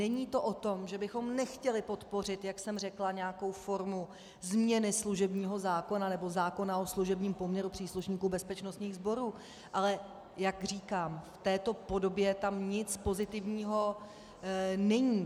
Není to o tom, že bychom nechtěli podpořit, jak jsem řekla, nějakou formu změny služebního zákona nebo zákona o služebním poměru příslušníků bezpečnostních sborů, ale jak říkám, v této podobě tam nic pozitivního není.